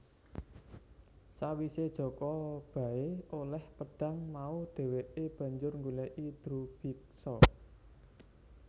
Sawise Jaka Bahu oleh pedhang mau dheweke banjur nggoleki Drubiksa